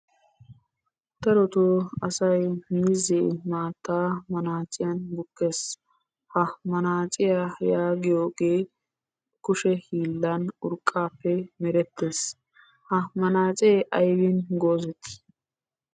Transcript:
Darotoo asayi miizzee maattaa manaaciyan bukkes. Ha manaaciya yaagiyogee kushe hiillan urqqaappe merettes. Ha manaacee aybin goozettii?